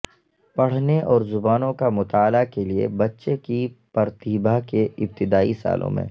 پڑھنے اور زبانوں کا مطالعہ کے لئے بچے کی پرتیبھا کے ابتدائی سالوں میں